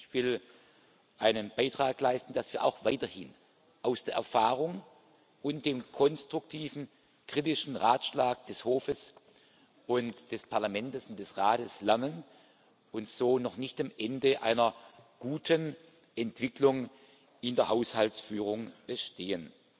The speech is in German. Ich will einen Beitrag leisten, dass wir auch weiterhin aus der Erfahrung und dem konstruktiven kritischen Ratschlag des Hofs und des Parlaments und des Rats lernen und so noch nicht am Ende einer guten Entwicklung in der Haushaltsführung stehen.